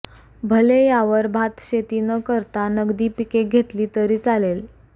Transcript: भले यावर भातशेती न करता नगदी पिके घेतली तरी चालेल